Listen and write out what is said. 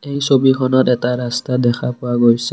ছবিখনত এটা ৰাস্তা দেখা পোৱা গৈছে।